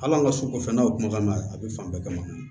Hal'an ka sugu kɔfɛ n'o kumakan na a bɛ fan bɛɛ kama